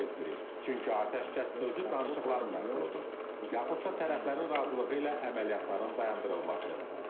Biz atəşkəsi qəbul etmirik, çünki atəşkəs özü danışıqların məhsuludur, yaxud da tərəflərin razılığı ilə əməliyyatların dayandırılması.